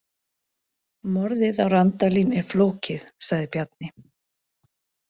Morðið á Randalín er flókið, sagði Bjarni.